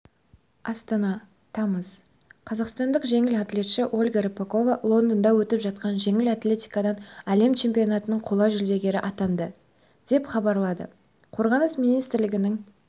астана тамыз қазақстандық жеңіл атлетші ольга рыпакова лондонда өтіп жатқан жеңіл атлетикадан әлем чемпионатының қола жүлдегері атанды деп хабарлады қорғаныс министрлігінің